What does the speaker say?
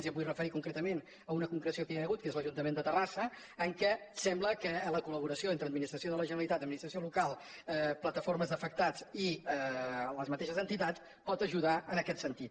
i em vull referir concretament a una concreció que ja hi ha hagut que és l’ajuntament de terrassa en què sembla que la col·laboració entre administració de la generalitat administració local plataformes d’afectats i les mateixes entitats pot ajudar en aquest sentit